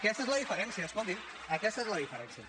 aquesta és la diferència escolti’m aquesta és la diferència